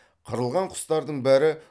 қырылған құстардың бәрі